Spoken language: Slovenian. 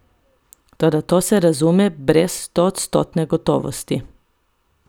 Toda, to se razume, brez stoodstotne gotovosti.